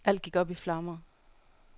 Alt gik op i flammer.